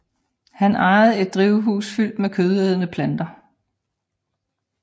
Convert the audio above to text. Han ejede et drivhus fyldt med kødædende planter